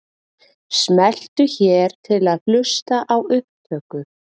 Smelltu hér til að hlusta á upptöku.